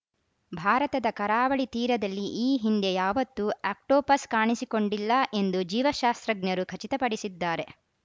ಭಾರತದ ಕರಾವಳಿ ತೀರದಲ್ಲಿ ಈ ಹಿಂದೆ ಯಾವತ್ತೂ ಆಕ್ಟೋಪಸ್‌ ಕಾಣಿಸಿಕೊಂಡಿಲ್ಲ ಎಂದು ಜೀವಶಾಸ್ತ್ರಜ್ಞರು ಖಚಿತಪಡಿಸಿದ್ದಾರೆ